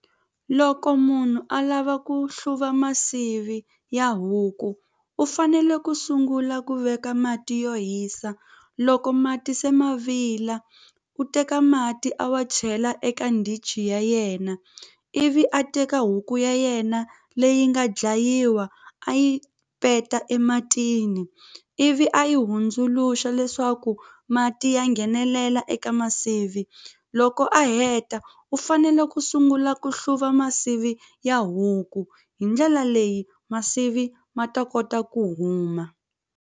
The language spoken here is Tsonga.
Loko munhu a lava ku hluva masivi ya huku u fanele ku sungula ku veka mati yo hisa loko mati se ma vila u teka mati a wa chela eka ndichi ya yena ivi a teka huku ya yena leyi nga dlayiwa a yi peta ematini ivi a yi hundzuluxa leswaku mati ya nghenelela eka masivi loko a heta u fanele ku sungula ku hluva masivi ya huku hi ndlela leyi masivi ma ta kota ku huma.